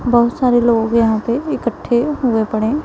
बहुत सारे लोग यहां पे इकट्ठे हुए पड़े--